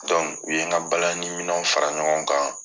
u ye n ka balani minɛw fara ɲɔgɔn kan